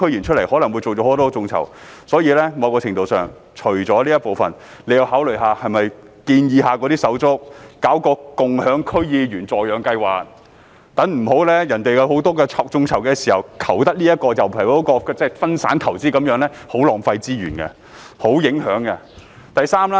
除了這一部分，在某程度上，政府亦要考慮是否建議那些手足搞一個共享區議員助養計劃，不要待人家進行很多眾籌時，求得這人卻得不了那人，分散投資是很浪費資源的，而且影響很大。